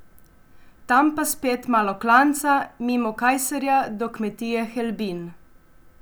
Tam pa spet malo klanca mimo Kajserja do kmetije Helbin.